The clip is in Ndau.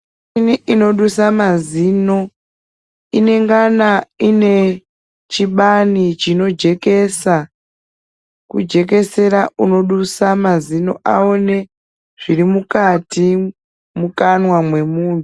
Michini inodusa mazino, inengana ine chibani chinojekesa, kujekesera unodusa mazino aone zviri mukati mukanwa mwemunhu.